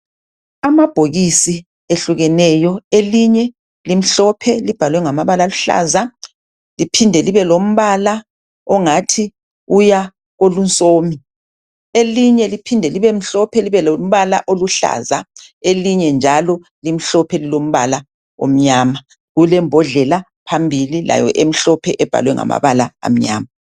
Amabhokisi ehlukeneyo. Elinye limhlophe. Libhalwe ngamabala akuhlaza. Liphinde libe lombala ongathi uya kolunsomi. Elinye liphinde libemhlophe. Libe lombala oluhlaza. Elinye njalo limhlophe, lilombala omnyama. Kulembodleia phambili, layo, emhlophe, ebhalwe ngamabala amnyama.